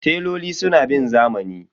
Teloli suna bin zamani.